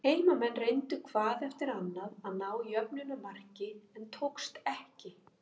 Heimamenn reyndu hvað eftir annað að ná jöfnunarmarki, en tókst ekki.